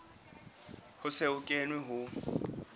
ho se ho kenwe ho